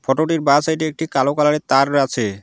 ফটোটির বা সাইডে একটি কালো কালারের তার আছে।